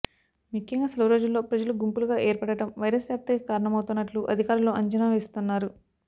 ముఖ్యంగా సెలవు రోజుల్లో ప్రజలు గుంపులుగా ఏర్పడడం వైరస్ వ్యాప్తికి కారణమవుతున్నట్లు అధికారులు అంచనా వేస్తున్నారు